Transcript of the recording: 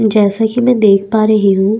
जैसा की में देख पा रही हूँ।